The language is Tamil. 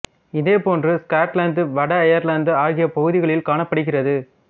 இதே போன்று ஸ்காட்லாந்து வட அயர்லாந்து ஆகிய பகுதிகளில் காணப்படுகிறது